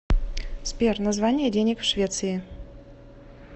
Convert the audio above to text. сбер название денег в швеции